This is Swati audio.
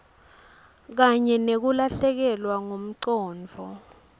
kanye nekulahlekelwa ngumcondvo